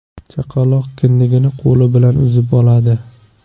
Chaqaloqning kindigini qo‘li bilan uzib oladi.